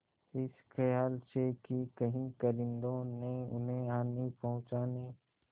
इस खयाल से कि कहीं कारिंदों ने उन्हें हानि पहुँचाने